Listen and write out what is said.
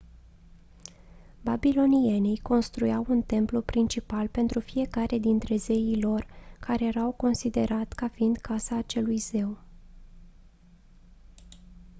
babilonienii construiau un templu principal pentru fiecare dintre zeii lor care era considerat ca fiind casa acelui zeu